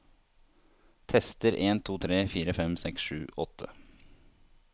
Tester en to tre fire fem seks sju åtte